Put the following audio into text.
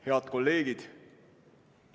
Head kolleegid!